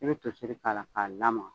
I bɛ to seri k'a la ka lamaka.